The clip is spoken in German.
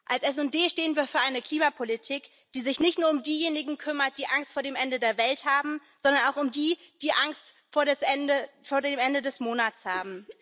Als SD stehen wir für eine Klimapolitik, die sich nicht nur um diejenigen kümmert, die Angst vor dem Ende der Welt haben, sondern auch um die, die Angst vor dem Ende des Monats haben.